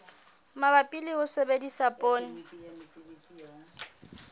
mabapi le ho sebedisa poone